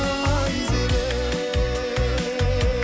айзере